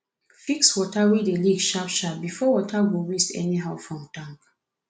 fix tap wey dey leak sharp sharp bifor water go waste anyhow from tank